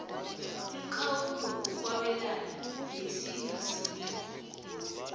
umkhawulo wokwabelana ngesingasitho